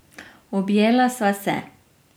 Objela sva se.